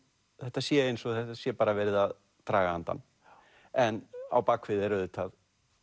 þetta sé eins og það sé bara verið að draga andann en á bak við er auðvitað